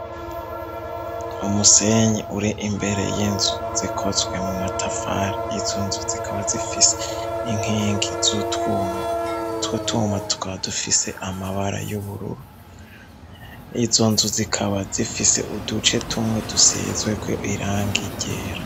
Umusenyi uri imbere y'inzu zikotzwe mu matafari izo nzu zikaba zifise inkingi zutwuma twutwuma twadufise amabara y'ubururu izo nzu zikaba zifise uduce tumwe dusezweko irangi ryera.